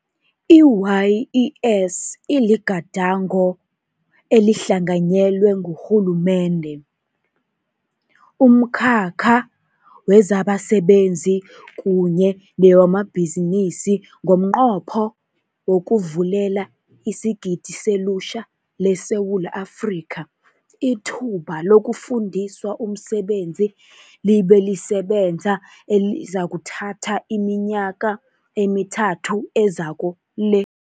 I-YES iligadango elihlanga nyelwe ngurhulumende, umkhakha wezabasebenzi kunye newamabhizinisi ngomnqopho wokuvulela isigidi selutjha leSewula Afrika ithuba lokufundiswa umsebenzi libe lisebenza, elizakuthatha iminyaka emithathu ezako le.